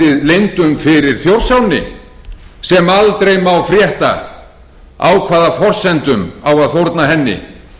leyndum fyrir þjórsánni sem aldrei má frétta á hvaða forsendum á að fórna henni